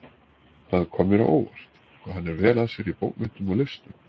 Það kom mér á óvart, hvað hann er vel að sér í bókmenntum og listum